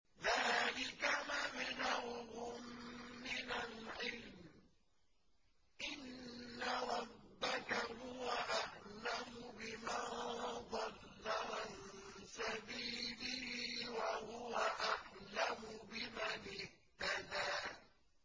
ذَٰلِكَ مَبْلَغُهُم مِّنَ الْعِلْمِ ۚ إِنَّ رَبَّكَ هُوَ أَعْلَمُ بِمَن ضَلَّ عَن سَبِيلِهِ وَهُوَ أَعْلَمُ بِمَنِ اهْتَدَىٰ